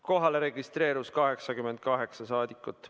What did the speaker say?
Kohalolijaks registreerus 88 saadikut.